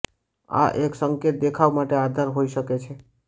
આ એક સંકેત દેખાવ માટે આધાર હોઈ શકે છે